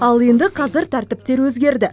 ал енді қазір тәртіптер өзгерді